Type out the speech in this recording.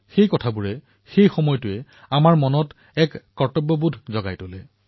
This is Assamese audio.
সেই দিনটো সেই সময়খিনি আমাৰ সকলোৰে বাবে এক কৰ্তব্যবোধৰ দৰে